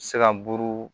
Se ka buru